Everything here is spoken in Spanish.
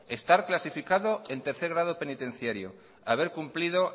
estar clasificado en tercer grado penitenciario haber cumplido